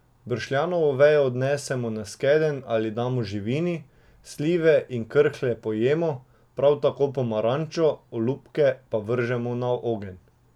Bršljanovo vejo odnesemo na skedenj ali damo živini, slive in krhlje pojemo, prav tako pomarančo, olupke pa vržemo na ogenj.